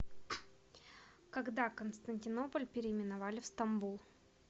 когда константинополь переименовали в стамбул